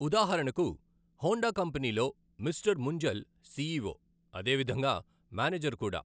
ఉదాహరణకు హోండా కంపెనీలో Mister Munjal CEO, అదేవిధంగా మేనేజర్ కూడా.